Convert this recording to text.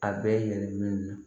A bɛ yɛlɛma